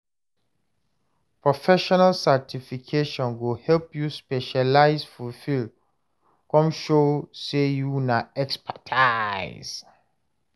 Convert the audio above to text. Professional certification go help you specialize for field, come show say you na expertise.